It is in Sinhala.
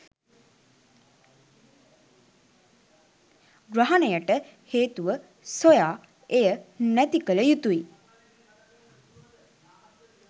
ග්‍රහණයට හේතුව සොයා එය නැති කළ යුතුයි.